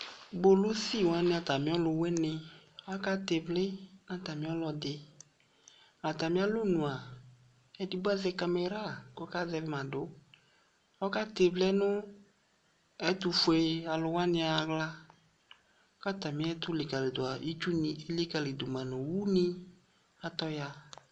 Polisi wani atami ɔlu wuini aka tɛ vli na tami ɔlɔdi atami alɔnua édigbo azɛ kaméra kɔ ka zɛma du ɔkatɛ vli nu ɛtufoé wani axla ka tami ɛtu likalidu itsuni élikalima du nu owu ni atɔ ya